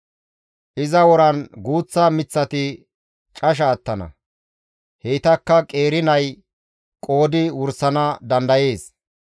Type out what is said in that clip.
Iza woran guuththa miththati casha attana; heytakka qeeri nay qoodi wursana dadayees.